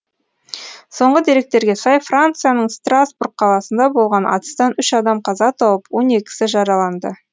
соңғы деректерге сай францияның страсбург қаласында болған атыстан үш адам қаза тауып он екісі жараланды